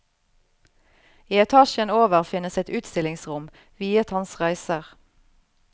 I etasjen over finnes et utstillingsrom viet hans reiser.